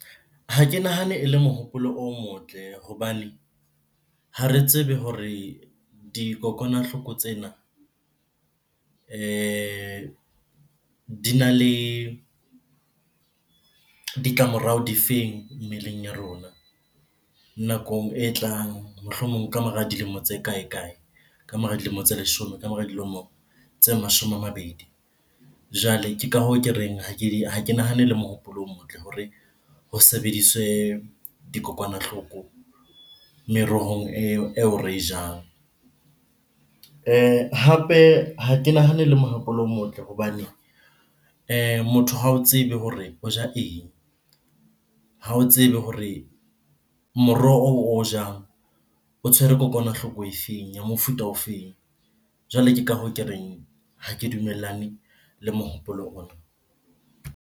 Ha ke nahane e le mohopolo o motle hobane ha re tsebe hore dikokwanahloko tsena dina le ditlamorao di feng mmeleng ya rona nakong e tlang, mohlomong ka mora dilemo tse kae-kae, ka mora dilemo tse leshome, ka mora dilemo tse mashome a mabedi. Jwale ke ka hoo ke reng, ha ke nahane le mohopolo o motle hore ho sebediswe dikokwanahloko merohong eo re e jang. Hape ha ke nahane ele mohopolo o motle hobane motho ha o tsebe hore o ja eng? Ha o tsebe hore moroho oo o jang o tshwere kokwanahloko e feng? ya mofuta o feng? Jwale ke ka hoo ke reng, ha ke dumellane le mohopolo ona.